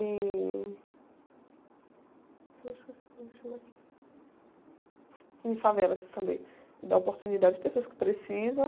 em, eu me esqueci como é que chama aquilo, em favelas também, dá oportunidade às pessoas que precisam.